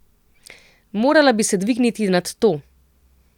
Morala bi se dvigniti nad to.